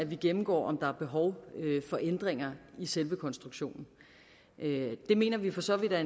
vi gennemgår om der er behov for ændringer i selve konstruktionen det mener vi for så vidt er